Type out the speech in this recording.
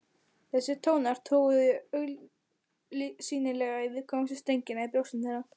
Þessir tónar toguðu augsýnilega í viðkvæmustu strengina í brjóstum þeirra.